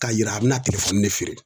K'a yira a bɛna ne feere